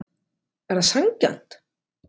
Er það sanngjarnt?